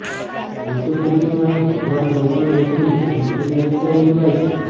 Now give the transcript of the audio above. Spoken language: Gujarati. બુદ્ધ પૂર્ણિમાએ ભગવાન ગૌતમ બુદ્ધની જયંતીના રૂપે ઉજવાય છે